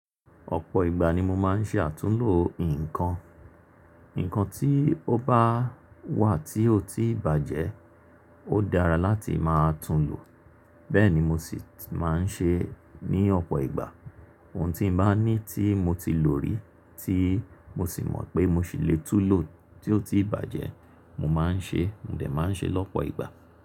Ọ̀pọ̀ ìgbà ni mo máa ń ṣe àtúnlo nǹkan. Nǹkan tí ó bá wà tí ó ti bàjẹ́, ó dára láti máa tún un lò. Bẹ́ẹ̀ ni mo sì ti máa ń ṣe ní ọ̀pọ̀ ìgbà. Ohun tí mo bá ní tí mo ti lò rí tí mo sì mọ̀ pé mo sì lè tún lò tí ó ti bàjẹ́, mo máa ń ṣe, mo dẹ̀ máa ń ṣe lọ́pọ̀ ìgbà.